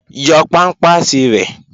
Yọ pámpàsì rẹ̀!